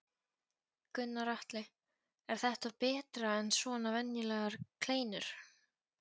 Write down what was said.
Gunnar Atli: Er þetta betra en svona venjulegar kleinur?